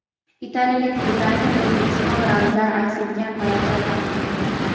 Italiyalik dizayner O‘zbekiston ramzlari aks etgan poyabzal taqdim etdi.